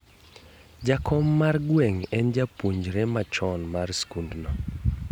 Jakom mar gweng' en japuionjre machon mar sikund no.